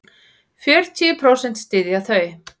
Fjörutíu prósent styðja þau.